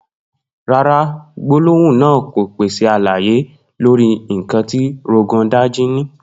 No, the statement doesn't provide information on what Rogon Daji possesses.